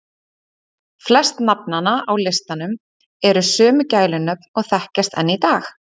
Flest nafnanna á listanum eru sömu gælunöfn og þekkjast enn í dag.